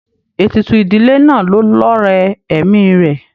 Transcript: Ètùtù ìdílé náà ló lọrẹ ẹ̀mi rẹ.